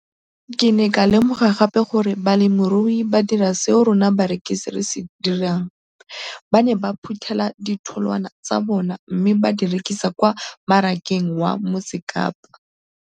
Ke ne ka lemoga gape gore balemirui ba dira seo rona barekisi re se dirang, ba ne ba phuthela ditholwana tsa bona mme ba di rekisa kwa marakeng wa Motsekapa.